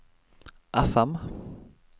FM